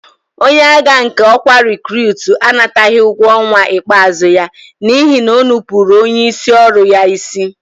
Onye agha nke ọkwa rekurutu anataghị ụgwọ ọnwa ikpeazụ ya n'ihi na o nupụụrụ onyeisi ọrụ ya isi.